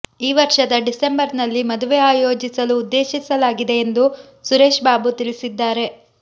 ಈ ವರ್ಷದ ಡಿಸೆಂಬರ್ನಲ್ಲಿ ಮದುವೆ ಆಯೋಜಿಸಲು ಉದ್ದೇಶಿಸಲಾಗಿದೆ ಎಂದು ಸುರೇಶ್ ಬಾಬು ತಿಳಿಸಿದ್ದಾರೆ